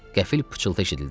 Qəfil pıçıltı eşidildi.